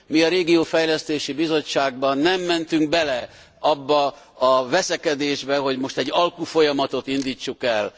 Mi, a Regionális Fejlesztési Bizottságban nem mentünk bele abba a veszekedésbe, hogy most egy alkufolyamatot indítsunk el.